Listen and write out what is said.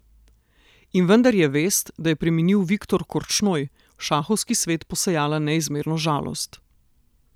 In vendar je vest, da je preminil Viktor Korčnoj, v šahovski svet posejala neizmerno žalost.